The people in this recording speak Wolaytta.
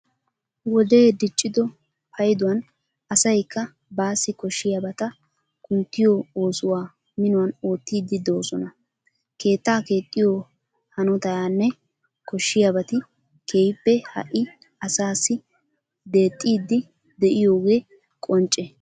Wodee diccido payduwan asaykka baassi koshshiyabata kunttiyo oosuwa minuwan oottiiddi de'oosona. Keettaa keexxiyo hanotayanne koshshiyabati keehippe ha"i asaassi dexxiiddi de'iyogee qoncce.